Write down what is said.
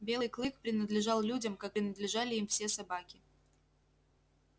белый клык принадлежал людям как принадлежали им все собаки